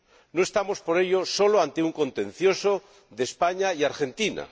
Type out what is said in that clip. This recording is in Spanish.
No estamos, por ello, solo ante un contencioso entre España y Argentina.